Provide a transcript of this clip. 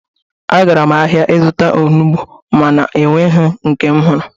Agara m ahia izụta onugbo ma na-ọnweghi nke m hụrụ